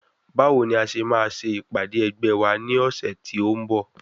Báwo ni a ṣe máa ṣe ìpàdé ẹgbẹ́ wa ní ọ̀sẹ̀ tí ó ń bọ̀?